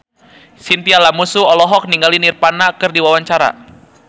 Chintya Lamusu olohok ningali Nirvana keur diwawancara